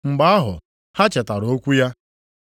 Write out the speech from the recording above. Mgbe ahụ ha chetara okwu ya.